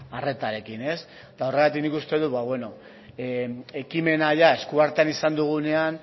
arretarekin horregatik nik uste dut ekimena eskuartean izan dugunean